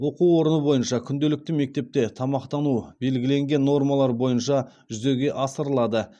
оқу орны бойынша күнделікті мектепте тамақтану белгіленген нормалар бойынша жүзеге асырылады